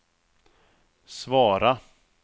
svara